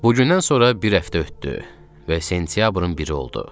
Bugündən sonra bir həftə ötdü və sentyabrın biri oldu.